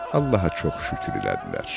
Allaha çox şükür elədilər.